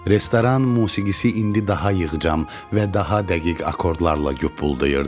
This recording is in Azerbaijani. Restoran musiqisi indi daha yığcam və daha dəqiq akkordlarla yupludayırdı.